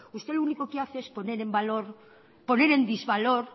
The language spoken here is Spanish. usted lo único que hace es poner en desvalor